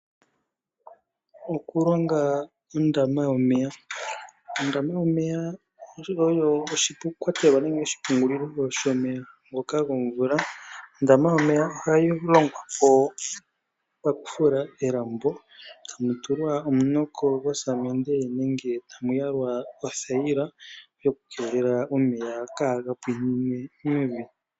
Okulonga ondama yomeya. Ondama yomeya oyo oshikwatelwa nenge oshipungulilo shomeya ngoka gomvula. Ondama yomeya Ohayi longwapo paku fula elambo , etamu tulwa omunoko gosamende nenge tamu yalwa othayila yokukeelela omeya kaaga pwinine mevi.